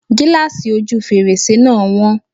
Gíláàsì ojú fèrèsé náà wọ́n.